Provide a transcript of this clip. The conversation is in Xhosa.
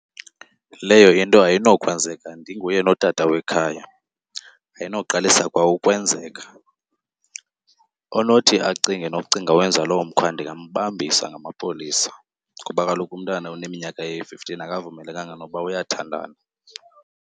Leyo into ayinokwenzeka ndinguye notata wekhaya, ayinoqalisa kwa ukwenzeka. Onothi acinge nokucinga wenza loo mkhwa ndingambambisa ngamapolisa, ngoba kaloku umntana oneminyaka eyi-fifteen akavumelekanga nokuba uyathandana.